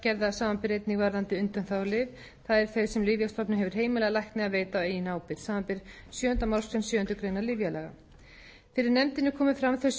reglugerða samanber einnig varðandi undanþágulyf það er þau sem lyfjastofnun hefur heimilað lækni að veita á eigin ábyrgð samanber sjöunda málsgrein sjöundu greinar lyfjalaga fyrir nefndinni komu fram þau